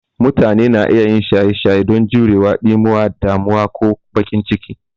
Mutane na iya yin shaye shaye don jurewa ɗimuwa, damuwa, ko bakin ciki.